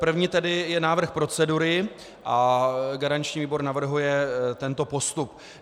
První tedy je návrh procedury a garanční výbor navrhuje tento postup: